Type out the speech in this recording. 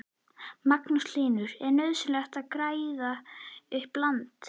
Magnús Hlynur: Er nauðsynlegt að græða upp land?